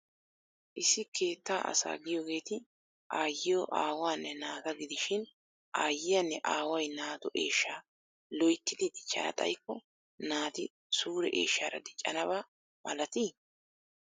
Issi keetta asaa giyogeeti aayyiyo aawaanne naata gidishin aayyiyanne aaway naatu eeshshaa loyittidi dichchana xayikko naati suure eeshshaara diccanaba malati?